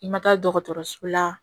I ma taa dɔgɔtɔrɔso la